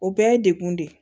O bɛɛ ye degun de ye